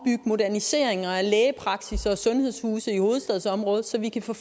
moderniseringer af lægepraksisser og sundhedshuse i hovedstadsområdet så vi kan få